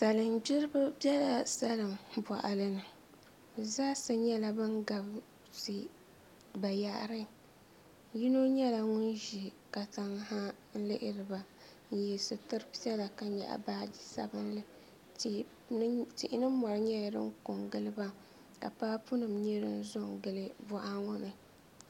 Salin gbiribi biɛla salin boɣani bi zaa sa nyɛla bin gabisi bayaɣari yino nyɛla ŋun ʒi katiŋ ha n lihiriba n yɛ sitiri piɛla ka nyaɣa baaji sabinli tihi ni mori nyɛla din ko n giliba ka paapu nim nyɛ din zo n gili boɣa ŋo ni